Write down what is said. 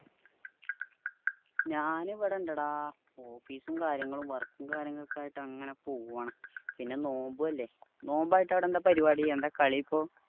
ഞാൻ ഇവിടെ ഇണ്ടടാ office ഉം കാര്യങ്ങളും work ഉം കാര്യങ്ങളും ഒക്കെ ആയിട്ട് അങ്ങനെ പോവാണ് പിന്നെ നോമ്പു അല്ലെ നോമ്പ് ആയിട്ട് അവിടെ എന്താ പരിവാടി എന്താ കാളി ഇപ്പൊ